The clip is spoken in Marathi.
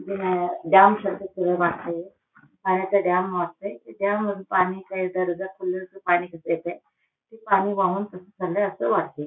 डॅम सारख थोडं वाटतंय आणि त्या डॅम मध्ये त्या डॅम मध्ये पाणी ते पाणी वाहून अस चाललय अस वाटतंय.